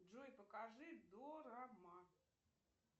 джой покажи дорама